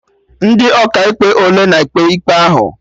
Ndị Ọkaikpe ole na-ekpe ikpe ahụ?